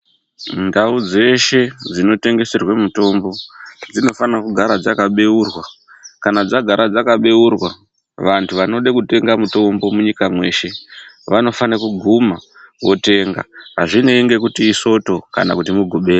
Ndau dzeshe dzinotengeserwe mitombo dzinofana kugara dzakabeurwa, kana dzagara dzakabeurwa vantu vanoda kutenga mitombo munyika mweshe vanofana kuguma votenga, azvinei ngekuti isoto kana kuti mugubera.